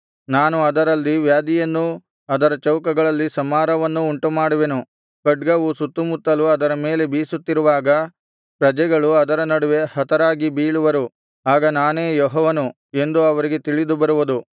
ನಾನು ಅದರಲ್ಲಿ ವ್ಯಾಧಿಯನ್ನೂ ಅದರ ಚೌಕಗಳಲ್ಲಿ ಸಂಹಾರವನ್ನೂ ಉಂಟು ಮಾಡುವೆನು ಖಡ್ಗವು ಸುತ್ತುಮುತ್ತಲೂ ಅದರ ಮೇಲೆ ಬೀಸುತ್ತಿರುವಾಗ ಪ್ರಜೆಗಳು ಅದರ ನಡುವೆ ಹತರಾಗಿ ಬೀಳುವರು ಆಗ ನಾನೇ ಯೆಹೋವನು ಎಂದು ಅವರಿಗೆ ತಿಳಿದು ಬರುವುದು